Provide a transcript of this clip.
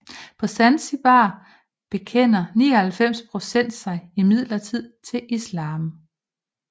På Zanzibar bekender 99 procent sig imidlertid til islam